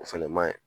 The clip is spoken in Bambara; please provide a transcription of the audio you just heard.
O fɛnɛ maɲi